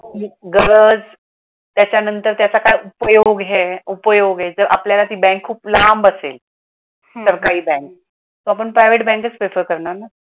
गरज त्याच्यानंतर त्याचा काय उपयोग हे उपयोग आहे जर आपल्याला ती bank खूप लांब असेल सरकारी bank तर आपण private bank च prefer करणार न.